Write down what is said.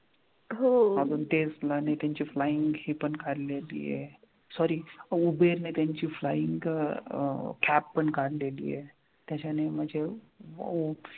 ते ची flying ही पन आलेलीय sorry उबेरने त्यांची flying अं कॅब पन काढलीय त्याच्यानी म्हनजे